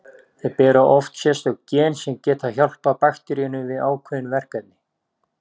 Þau bera oft sérstök gen sem geta hjálpað bakteríunni við ákveðin verkefni.